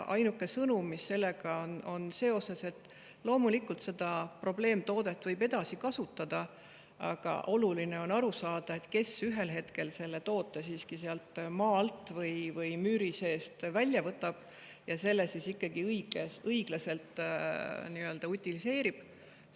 Ainuke sõnum sellega seoses on see, et loomulikult võib seda probleemtoodet edasi kasutada, aga oluline on aru saada, kes on see, kes ühel hetkel selle toote siiski sealt maa alt või müüri seest välja võtab ja selle ikkagi õiglaselt utiliseerib.